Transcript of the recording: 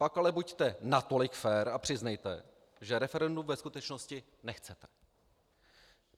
Pak ale buďte natolik fér a přiznejte, že referendum ve skutečnosti nechcete.